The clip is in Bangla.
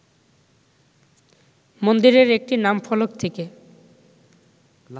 মন্দিরের একটি নামফলক থেকে